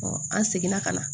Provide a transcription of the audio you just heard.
an seginna ka na